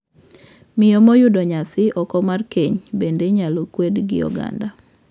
Miyo moyudo nyathi oko mar keny bende inyal kwedi gi oganda.